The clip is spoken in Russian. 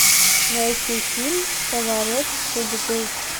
найти фильм поворот судьбы